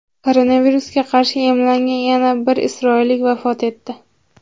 Koronavirusga qarshi emlangan yana bir isroillik vafot etdi.